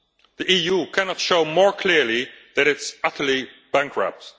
The EU cannot show more clearly that it is utterly bankrupt.